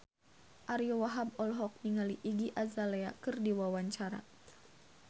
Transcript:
Ariyo Wahab olohok ningali Iggy Azalea keur diwawancara